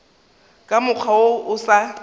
ka mokgwa wo o sa